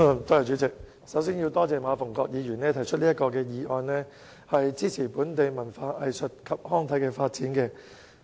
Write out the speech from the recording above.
主席，首先我要感謝馬逢國議員提出這項"開拓場地，創造空間，支持本地文化藝術及康體發展"議案。